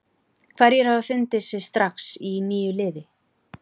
Hverjir hafa fundið sig strax í nýju liði?